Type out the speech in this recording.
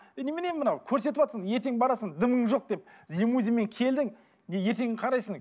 ей немене мынау көрсетіватсың ертең барасың дымың жоқ деп лимузинмен келдің ертең қарайсың